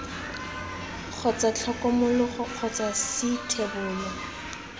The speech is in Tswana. kgotsa tlhokomologo kgotsa c thebolo